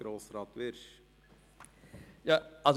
Kommissionssprecher der FiKo.